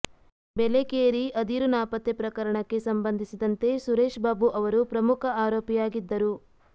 ಬೆಲೇಕೇರಿ ಅದಿರು ನಾಪತ್ತೆ ಪ್ರಕರಣಕ್ಕೆ ಸಂಬಂಧಿಸಿದಂತೆ ಸುರೇಶ್ ಬಾಬು ಅವರು ಪ್ರಮುಖ ಆರೋಪಿಯಾಗಿದ್ದರು